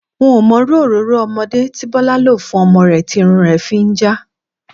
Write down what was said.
N ò mo̩ irú òróró o̩mo̩dé tí Bó̩lá lò fún o̩mo̩ rè̩ tí irun rè̩ fi ń já